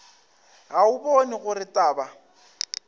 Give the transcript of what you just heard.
ga o bone gore taba